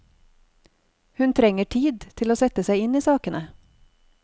Hun trenger tid til å sette seg inn i sakene.